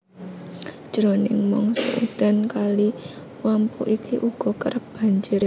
Jroning mangsa udan Kali Wampu iki uga kerep banjir